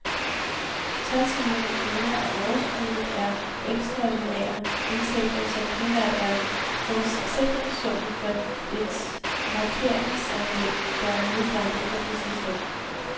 Tres millioner kroner af overskuddet er ekstraordinære indtægter, som primært er forsikringssummen for et lakeringsanlæg, der nedbrændte i juli sidste år.